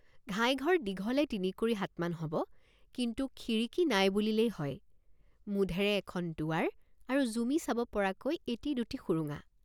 ঘাই ঘৰ দীঘলে তিনিকুৰি হাতমান হব কিন্তু খিৰিকী নাই বুলিলেই হয় মুধেৰে এখন দুৱাৰ আৰু জুমি চাব পৰাকৈ এটি দুটি সুৰুঙা।